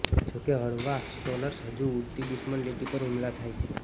જોકે હળવા સ્ટ્રોલર્સ હજુ ઉડતી દુશ્મન લીટી પર હુમલા થાય છે